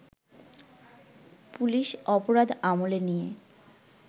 police অপরাধ আমলে নিয়ে